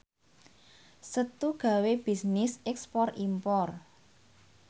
Setu gawe bisnis ekspor impor